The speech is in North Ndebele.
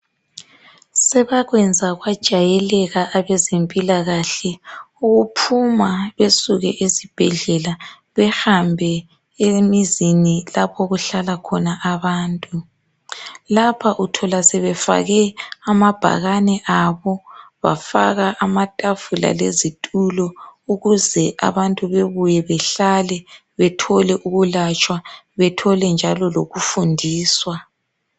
sebakwenza kwajayeleka abezempikahle ukuphuma besuke ezibhedlela behambe emizini lapho okuhlala khona abantu lapha uthola sebefake amabhakane abo bafaka amatafula lezitulo ukuze abantu bebuye behlale bethole ukulatshwa bethole njalo ukufundiswa